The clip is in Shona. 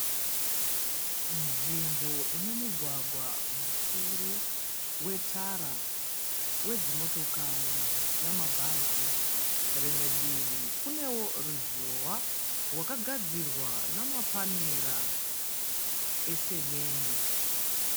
Nzvimbo ine mugwagwa mukuru wetara wedzi motokari nambhazi rimwe divi kunewo ruzhowa rwakagadzirwa namapanera esemende.